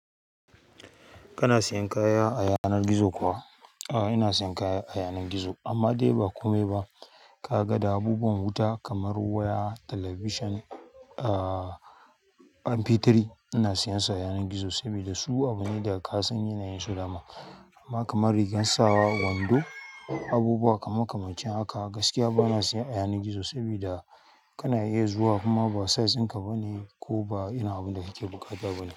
Kana siyan kaya a yanar gizo kuwa? Aa, ina siyan kaya a yanan gizo amma dai ba kome ba. Kaga da abubuwan wuta kamar waya, television, aa mp uku ina siyen su a yanan gizo saboda su abune sa kasan yanayin dama amma kamar rigan sawa, wando, abubuwa kaman kamancin haka gaskiya ba na siye a yanan gizo sabida kana iya zuwa kuma ba size ɗinka bane ko ba irin abun da kake buƙata bane.